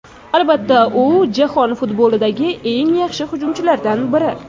Albatta, u jahon futbolidagi eng yaxshi hujumchilardan biri.